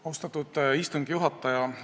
Austatud istungi juhataja!